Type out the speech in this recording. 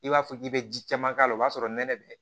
I b'a fɔ k'i bɛ ji caman k'a la o b'a sɔrɔ nɛnɛ bɛ